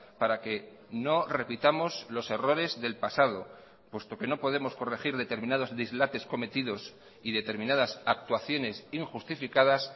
para que no repitamos los errores del pasado puesto que no podemos corregir determinados dislates cometidos y determinadas actuaciones injustificadas